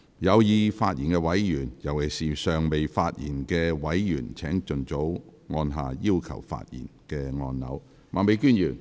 有意發言的委員，尤其是尚未發言的委員，請盡早按下"要求發言"按鈕。